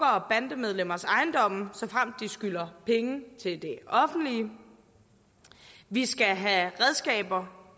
og bandemedlemmers ejendomme såfremt de skylder penge til det offentlige vi skal have redskaber